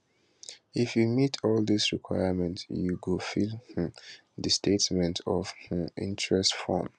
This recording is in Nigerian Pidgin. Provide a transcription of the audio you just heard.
if you meet all dis requirement you go fill um di statement of um interest form